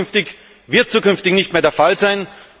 Das kann und wird zukünftig nicht mehr der Fall sein.